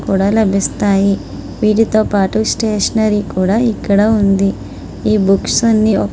కూడా లభిస్తాయి వీటితో పాటు స్టేషనరీ కూడా ఇక్కడ ఉంది ఈ బుక్స్ అన్ని --